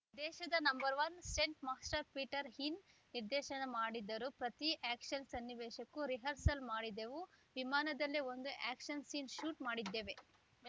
ದೇಶದ number one stunt master Peter Hein ನಿರ್ದೇಶನ ಮಾಡಿದರು ಪ್ರತಿ ಆ್ಯಕ್ಷನ್‌ ಸನ್ನಿವೇಶಕ್ಕೂ ರಿಹರ್ಸಲ್‌ ಮಾಡಿದೆವು ವಿಮಾನದಲ್ಲೇ ಒಂದು ಆ್ಯಕ್ಷನ್‌ ಸೀನ್‌ ಶೂಟ್‌ ಮಾಡಿದ್ದೇವೆ